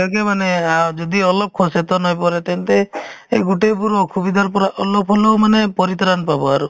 এইবিলাকে মানে আ যদি অলপ সচেতন হৈ পৰে তেন্তে এই গোটেই বোৰ অসুবিধাৰ পৰা অলপ হ'লেও মানে পৰিত্ৰাণ পাব আৰু